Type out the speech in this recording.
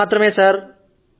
నేను మాత్రమే సర్